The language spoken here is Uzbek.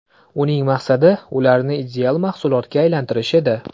Uning maqsadi ularni ideal mahsulotga aylantirish edi.